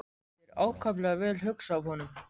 Þetta var ákaflega vel hugsað af honum.